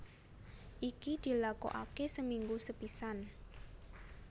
Iki dilakokake seminggu sepisan